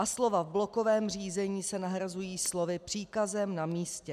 A slova "v blokovém řízení" se nahrazují slovy "příkazem na místě".